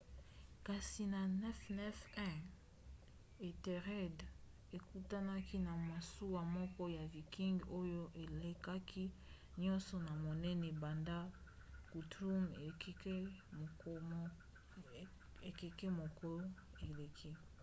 kasi na 991 ethelred ekutanaki na masuwa moko ya viking oyo elekaki nyonso na monene banda guthrum ekeke moko eleki